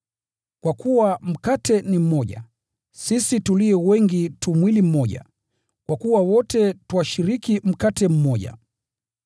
Kwa kuwa mkate ni mmoja, sisi tulio wengi tu mwili mmoja, kwa kuwa wote twashiriki mkate mmoja.